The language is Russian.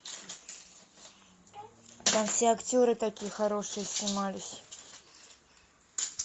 там все актеры такие хорошие снимались